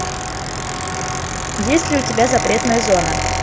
есть ли у тебя запретная зона